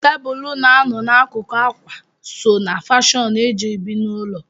Tebụl na-anọ n'akụkụ ákwà so ná fọnishọ eji ebi n'ụlọ.